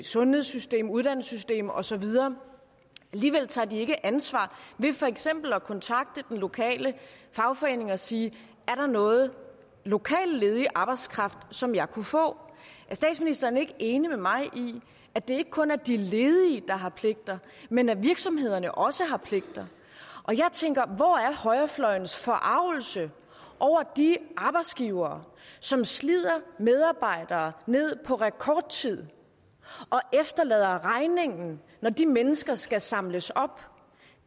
sundhedssystemet uddannelsessystemet og så videre alligevel tager de ikke ansvar ved for eksempel at kontakte den lokale fagforening og sige er der noget lokal ledig arbejdskraft som jeg kunne få er statsministeren ikke enig med mig i at det ikke kun er de ledige der har pligter men at virksomhederne også har pligter jeg tænker hvor er højrefløjens forargelse over de arbejdsgivere som slider medarbejdere ned på rekordtid og efterlader regningen når de mennesker skal samles op